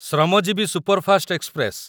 Shramjeevi superfast express